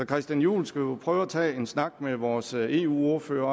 christian juhl skal jo prøve at tage en snak med vores eu ordfører